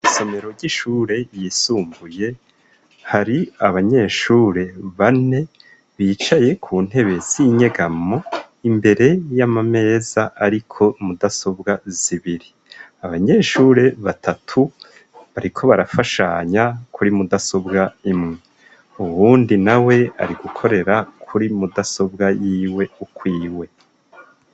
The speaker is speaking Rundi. Isomero ry'ishure yisumbuye hari abanyeshure bane bicaye ku ntebe sinyegamo imbere y'amameza, ariko mudasobwa zibiri abanyeshure batatu bariko barafashanya kuri mudasobwa imwe uwundi na we ari gukorera kuri mudasobwa yiwe ukwiwe.